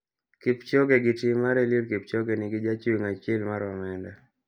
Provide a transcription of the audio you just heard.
Kipchoge gi tim mar Eliud Kipchoge ni gi jachung' achiel mar omenda.